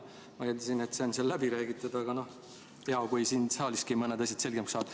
Ma eeldasin, et see teema on läbi räägitud, aga hea, kui siin saaliski mõned asjad selgemaks saavad.